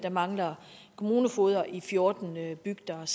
mangler kommunefogeder i fjorten bygder jeg